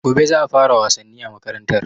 Gobe za a fara wasanni a makarantar